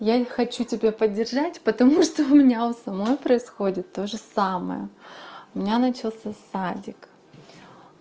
я ведь хочу тебя поддержать потому что у меня у самой происходит тоже самое у меня начался садик